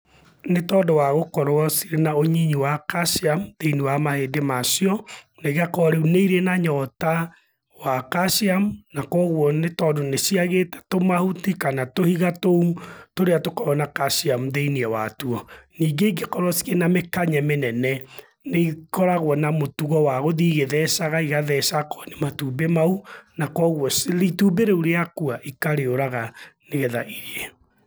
Nĩ tondũ wa gũkorwo cirĩ na ũnyinyi wa calcium thĩiniĩ wa mahĩndĩ macio na igakorwo rĩu nĩ irĩ na nyota wa calcium na koguo tondũ nĩ ciagĩte tũmahuti kana tũhiga tũu tũrĩa tukoragwo na calcium thĩiniĩ wa tuo. Ningĩ ingĩkorwo na mĩkanye mĩnene nĩikoragwo na mũtugo wa gũthiĩ igĩthecaga igatheca akorwo nĩ matumbĩ ma u, na koguo itumbĩ rĩu rĩakua ikarĩuraga nĩgetha irĩe.